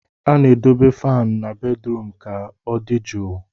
A na-edobe fan na bedrum ka ọ dị jụụ